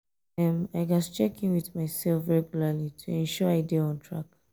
um i gats check in with myself um regularly to ensure um i dey on track.